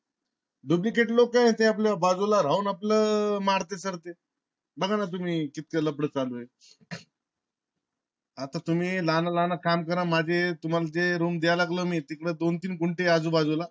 dublicate लोक ते आपल बाजूला राहवून आपल market करतेय. बघा ना तुम्ही कितीक लफड चालू ये. आता तुम्ही लहान लहान काम करा माझे तुम्हाला ते room द्यायला लागलो मी तिकडे दोन तीन गुंठे आजू बाजू ला